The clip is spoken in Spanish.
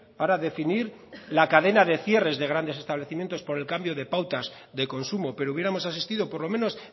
para definir la cadena de cierres de grandes establecimientos por el cambio de pautas de consumo pero hubiéramos asistido por lo menos